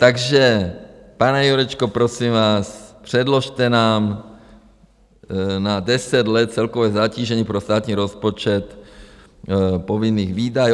Takže pane Jurečko, prosím vás, předložte nám na deset let celkové zatížení pro státní rozpočet povinných výdajů.